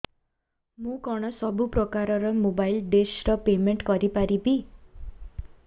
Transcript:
ମୁ କଣ ସବୁ ପ୍ରକାର ର ମୋବାଇଲ୍ ଡିସ୍ ର ପେମେଣ୍ଟ କରି ପାରିବି